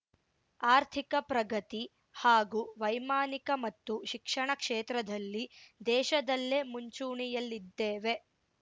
ಆರ್ಥಿಕ ಪ್ರಗತಿ ಹಾಗೂ ವೈಮಾನಿಕ ಮತ್ತು ಶಿಕ್ಷಣ ಕ್ಷೇತ್ರದಲ್ಲಿ ದೇಶದಲ್ಲೇ ಮುಂಚೂಣಿಯಲ್ಲಿದ್ದೇವೆ